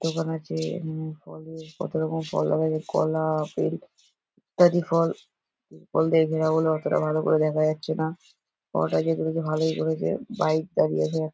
দোকান আছে হুম ফলের কত রকম ফল দেখা যাচ্ছে কলা আপেল ইত্যাদি ফল ফল দিয়ে ঘেরা বলে অতটা ভালো করে দেখা যাচ্ছে না। ফলটা যে দিয়েছে ভালোই করেছে বাইক দাঁড়িয়ে আছে।